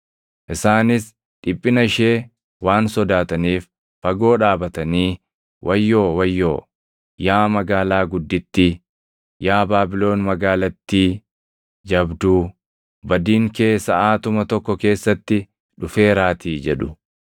Isaanis dhiphina ishee waan sodaataniif fagoo dhaabatanii, “ ‘Wayyoo! Wayyoo! Yaa magaalaa guddittii, yaa Baabilon magaalattii jabduu! Badiin kee saʼaatuma tokko keessatti dhufeeraatii!’ jedhu.